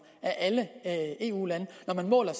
af alle eu lande når man måler